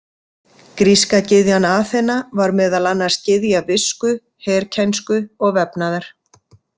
Gríska gyðjan Aþena var meðal annars gyðja visku, herkænsku og vefnaðar.